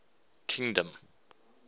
kingdom